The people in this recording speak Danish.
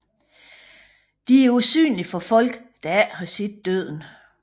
De er usynlige for folk der ikke har set Døden